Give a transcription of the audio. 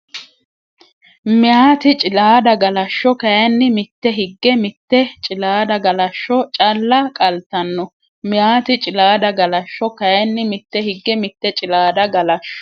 Meyaati Cilaada Galashsho kayinni mitte higge mitte Cilaada Galashsho calla qaltanno Meyaati Cilaada Galashsho kayinni mitte higge mitte Cilaada Galashsho.